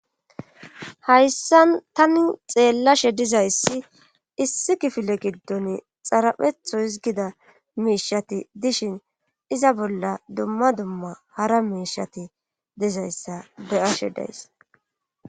Hayssa tani xeellashe dizayssi issi kifile giddon xaraphetho hizgida miishati dishin iza bolla dumma dumma hara miishati dizayssa beyashe days